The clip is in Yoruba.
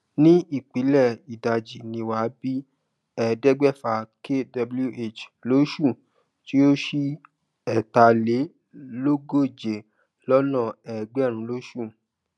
ní ìpìlẹ ìdàjì ní wa bí ẹẹdẹgbẹfa kwh lóṣù tí ó sí ẹtà lé lógóje lọna ẹgbẹrún lóṣù